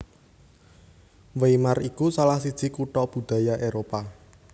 Weimar iku salah siji kutha budaya Éropah